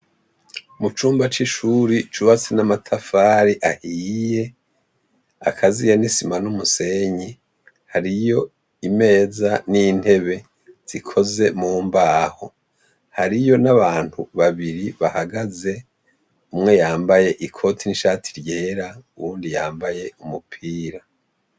Mucumba cishuri cubatse namatafari ahiye akaziye nisima n'umusenyi hariyo imeza n'intebe zikoze mumbaho, hariyo nabantu babiri bahagaze umwe yambaye ikoti n'ishati ryera uyundi yambaye umupira.